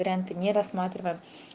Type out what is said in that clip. варианты не рассматриваем